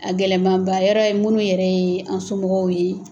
A gɛlɛnmaba yɔrɔ ye munnu yɛrɛ ye an somɔgɔw ye